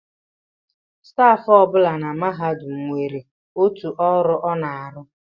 Stafụ ọ bụla na mahadum nwere otu ọrụ ọ na-arụ